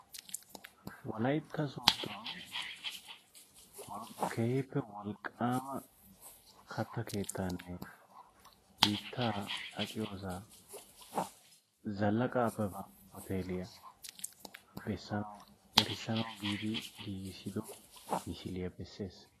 Wolaytta sooddo keehippe wolqqaama katta keettaanne hiittaa aqiyoosaa zallaqa abeba hooteliyaa bessanawu erissanawu giidi giigissido misiliyaa bessees.